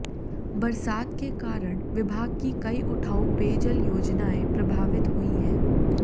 बरसात के कारण विभाग की कई उठाऊ पेयजल योजनाएं प्रभवित हुई हैं